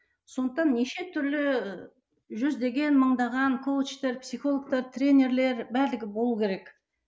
сондықтан неше түрлі жүздеген мыңдаған коучтар психологтар тренерлер барлығы болу керек